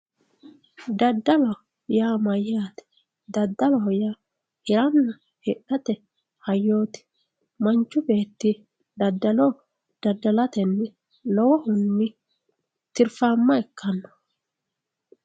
daddalo yaa mayyaate daddaloho hiranna hidhate hayyooti manchu beetti daddalo daddalatenni lowohunni tirfaamma ikkanno.